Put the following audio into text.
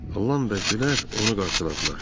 Ram və Gülər onu qarşıladılar.